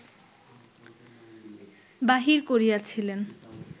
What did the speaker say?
বাহির করিয়াছিলেন